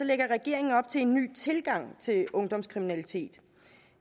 lægger regeringen op til en ny tilgang til ungdomskriminalitet